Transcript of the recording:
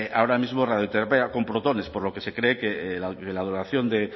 ahora mismo radioterapia con protones por lo que se cree que la donación de